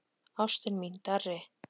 Ástin mín, Darri.